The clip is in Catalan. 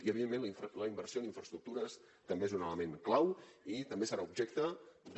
i evidentment la inversió en infraestructures també és un element clau i també serà objecte de